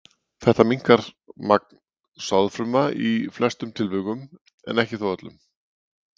Þetta minnkar magn sáðfruma í flestum tilfellum en þó ekki öllum.